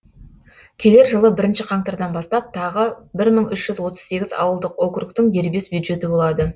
келер жылы бірінші қаңтардан бастап тағы бір мың үш жүз отыз сегіз ауылдық округтің дербес бюджеті болады